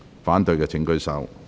反對的請舉手。